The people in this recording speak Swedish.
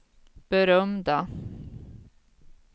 berömda